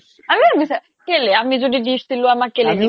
আমিও কেলে আমি দিছিলো আমাক কেলে